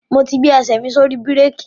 Mo ti gbé ẹsẹ̀ mi sórí bírèkì.